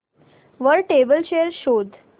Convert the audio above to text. वर table chair शोध